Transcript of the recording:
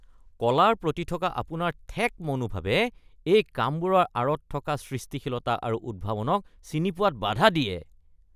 কলাৰ প্ৰতি থকা আপোনাৰ ঠেক মনোভাৱে এই কামবোৰৰ আঁৰত থকা সৃষ্টিশীলতা আৰু উদ্ভাৱনক চিনি পোৱাত বাধা দিয়ে।